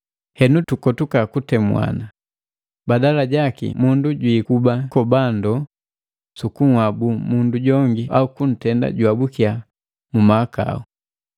Henu tukotuka kutemuana, badala jaki mundu jwikuba kikobandoo sukunhabu mundu jongi au kuntenda juhabukya mu mahakau.